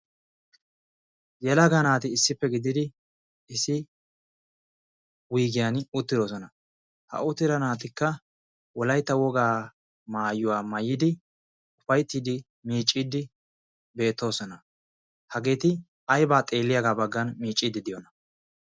Yelaga naati issippe gididi issi wiigiyan uttidoosona ha uttira naatikka wolaytta wogaa maayuwaa mayidi ufayttiddi miicciiddi beettoosona hageeti aybaa xeelliyaagaa baggan miicciiddi diyona